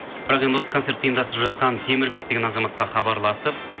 бірақ енді осы концертті ұйымдастырып жатқан темірбек деген азаматқа хабарласып